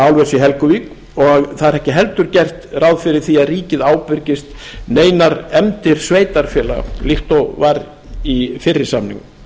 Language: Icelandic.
álvers í helguvík og það er ekki heldur gert ráð fyrir því að ríkið ábyrgist neinar efndir sveitarfélaga líkt og var í fyrri samningum